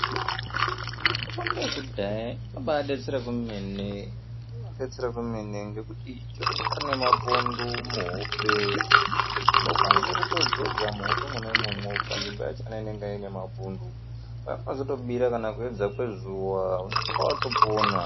Mitombo yekudhaya inobaadetsera kwemene ngekuti chero unyari mapundu muhope unokwanise kutodzodza muhope mwona imwomwo panzvimbo yacho inenge ine mapundu kunozotobira kana kuedza kwezuwa unenge watopona.